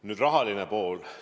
Nüüd rahaline pool.